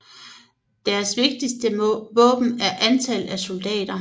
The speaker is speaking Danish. Deres vigtigste våben er antal af soldater